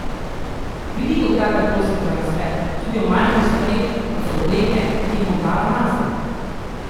Velikokrat ga prosim za nasvet, tudi o majhnih stvareh, kot so obleke, ki jih bom dala nase.